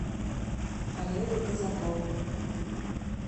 олега казакова